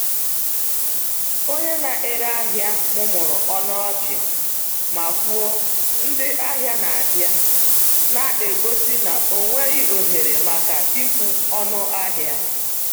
Onye na-ere ahịa mụmụrụ ọnụ ọchị ma kwuo, “Ndị ahịa na-abịa,” na-egosi na ọ nweghị ohere maka ịkwụ ọnụ ahịa.